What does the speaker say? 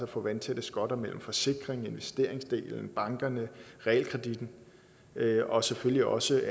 få vandtætte skotter mellem forsikrings og investeringsdelen bankerne og realkreditten og selvfølgelig også